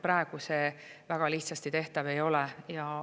Praegu see väga lihtsasti tehtav ei ole.